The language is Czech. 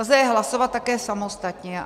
Lze je hlasovat také samostatně.